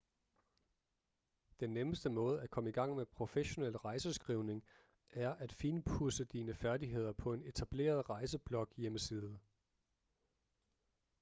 den nemmeste måde at komme i gang med professionel rejseskrivning er at finpudse dine færdigheder på en etableret rejsebloghjemmeside